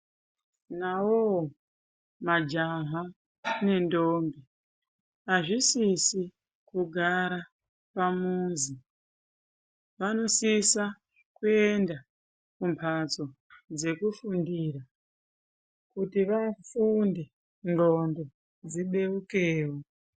Nawowo majaha nendombi hazvisizi kugara pamuzi. Vanosisa kuenda kumhatso dzekufundira kuti vafunde, ndxondo dzibeukewo.